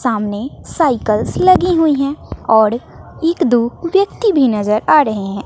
सामने साइकल्स लगी हुई हैं औड़ एक दो व्यक्ति भी नजर आ ड़हे हैं।